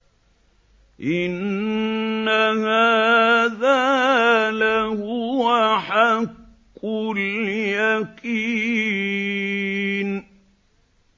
إِنَّ هَٰذَا لَهُوَ حَقُّ الْيَقِينِ